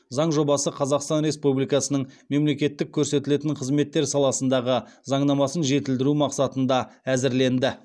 заң жобасы қазақстан республикасының мемлекеттік көрсетілетін қызметтер саласындағы заңнамасын жетілдіру мақсатында әзірленді